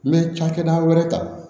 N bɛ cakɛda wɛrɛ ta